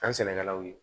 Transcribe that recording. An sɛnɛkɛlaw ye